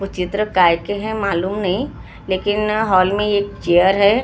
वो चित्र काय के हैं मालूम नहीं लेकिन हॉल में एक चियर है और--